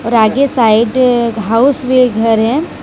और आगे साइड एक हाउस में घर है।